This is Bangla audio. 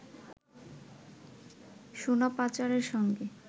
সোনা পাচারের সঙ্গে